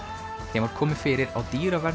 þeim var komið fyrir á